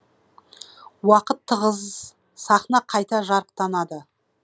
уақыт тығыз з сахна қайта жарықтанады